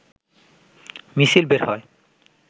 মিছিল বের হয়